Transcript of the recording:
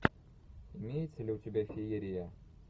имеется ли у тебя феерия